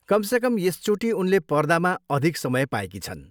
कमसेकम यसचोटि उनले पर्दामा अधिक समय पाएकी छन्।